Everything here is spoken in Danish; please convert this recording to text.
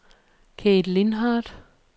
Kate Lindhardt